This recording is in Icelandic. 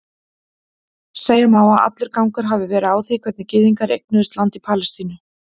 Segja má að allur gangur hafi verið á því hvernig gyðingar eignuðust land í Palestínu.